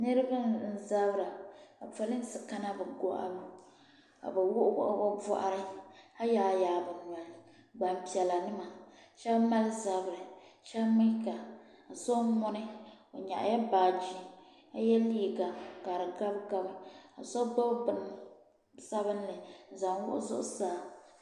niriba n-zabira ka polinsi kana bɛ gbahibu ka bɛ wuɣi wuɣi bɛ bɔɣari ka yaai n-yaai bɛ noya gbaŋ' piɛla n-nyɛ ba shɛba mali zabiri shɛba mi ka so n-ŋuni o nyaɣi la baaji ka ye liiga ka di gabigabi so gbubi bini sabinli n-zaŋ wuɣi zuɣusaa.